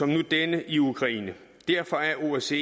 nu denne i ukraine derfor er osce